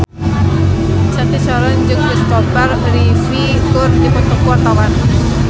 Cathy Sharon jeung Christopher Reeve keur dipoto ku wartawan